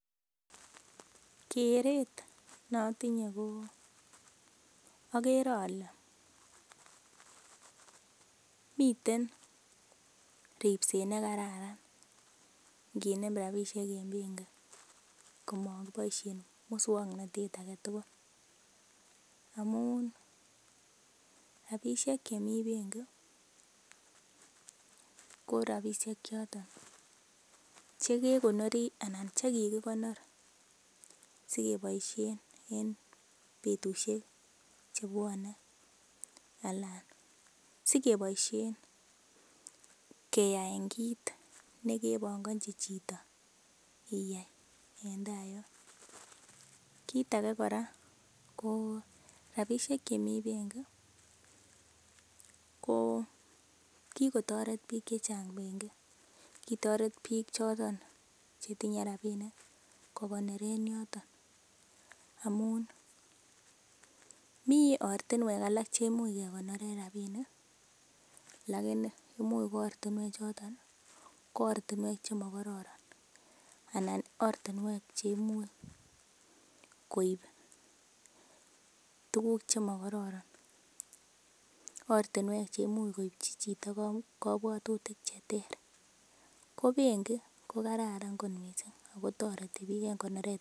Keret ne otinye ko oger ole miten ripset ne kararan nginem rabishek en bengi komakiboishen muswoknatet age tugul amun rabishek chemi bengi ko rabishek choton che kekonori anan che kigikonor sikeboishen en betushek chebwone anan sikeboishen keyaen kit nekebongochi chito iyai en ta yon. Kit age kora ko rabishek chemi bengi ko kigotoret biik che chang bengi kitoret biiik choton che tinye rabinik kogoneren yoton amun mi ortinwek alak che imuch kegoneren rabinik lakini imuch koortinwek choton ko ortinwek chemo kororon anan ortinwek che imuch koib tuguk che mokororon ortinwek che imuch koipchi chito kobwatutik che ter ko benki ko kararan misng ago toreti biik en konoret.